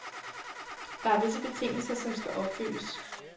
Der er visse betingelser, der skal opfyldes.